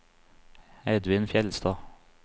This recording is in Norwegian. Edvin Fjeldstad